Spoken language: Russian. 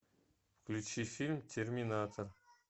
включи фильм терминатор